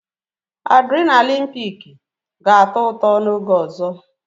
Adrịnalịn piiki ga-atọ ụtọ n'oge ọzọ